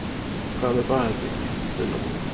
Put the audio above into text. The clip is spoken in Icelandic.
Hvað með baðherbergið, Lilla mín?